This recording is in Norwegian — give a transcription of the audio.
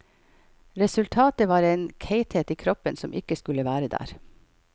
Resultatet var en keitethet i kroppen som ikke skulle være der.